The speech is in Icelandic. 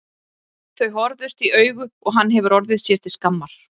Þau horfðust í augu og hann hefur orðið sér til skammar.